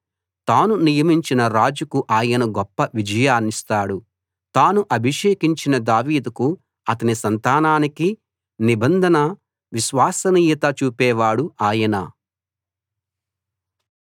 తాను నియమించిన రాజుకు ఆయన గొప్ప విజయాన్నిస్తాడు తాను అభిషేకించిన దావీదుకు అతని సంతానానికి నిబంధన విశ్వసనీయత చూపే వాడు ఆయన